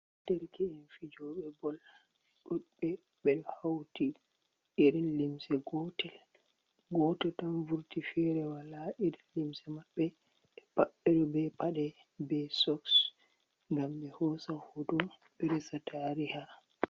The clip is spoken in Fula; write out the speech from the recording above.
Dereke'en fijooɓe bol ,ɗuuɗɓe be hawti irin limse gotel .Gooto tan vurti feere wala irin limse maɓɓe ,ɓe pat ɓe ɗo be paɗe be sons, ngam ɓe hoosa hooto ɓe resa tariha.